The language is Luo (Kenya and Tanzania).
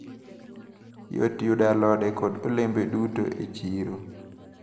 Yot yudo alode kod olembe duto e chiro.